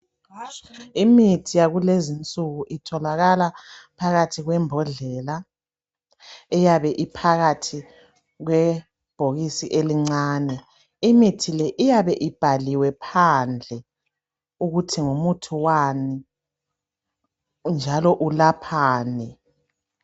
Imithi yakulezinsuku itholakala phakathi kwembodlela eyabe iphakathi kwebhokisi elincane imithile iyabe ibhaliwe phandle ukuthi ngumuthi wani njalo ulaphani